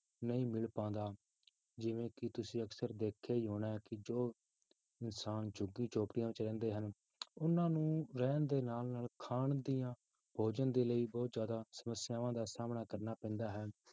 ਨਹੀਂ ਮਿਲ ਪਾਉਂਦਾ, ਜਿਵੇਂ ਕਿ ਤੁਸੀਂ ਅਕਸਰ ਦੇਖਿਆ ਹੀ ਹੋਣਾ ਹੈ ਕਿ ਜੋ ਇਨਸਾਨ ਝੁੱਗੀ ਝੋਂਪੜੀਆਂ ਵਿੱਚ ਰਹਿੰਦੇ ਹਨ, ਉਹਨਾਂ ਨੂੰ ਰਹਿਣ ਦੇ ਨਾਲ ਨਾਲ ਖਾਣ ਦੀਆਂ ਭੋਜਨ ਦੇ ਲਈ ਬਹੁਤ ਜ਼ਿਆਦਾ ਸਮੱਸਿਆਵਾਂ ਦਾ ਸਾਹਮਣਾ ਕਰਨਾ ਪੈਂਦਾ ਹੈ